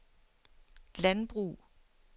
landbrug